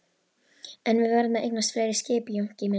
En við verðum að eignast fleiri skip Jónki minn.